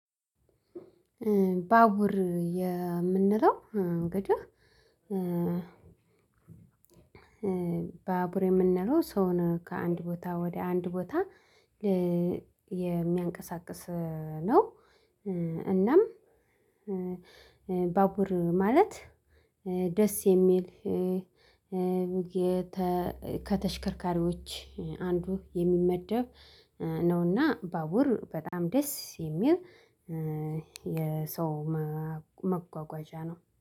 ባቡር የ ምንለው እግድህ ባቡር የምንለው ሰውን ከአንድ ቦታ ወደ አንድ ቦታ የሚያንቀሳቅስ ነው። እናም ባቡር ማለት ደስ የሚል ከተሽከርካሪዎች አንዱ የሚመደብ ነውና ባቡር በጣም ደስ የሚል የሰው መጓጓዣ ነው